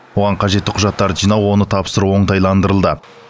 оған қажетті құжаттарды жинау оны тапсыру оңтайландырылды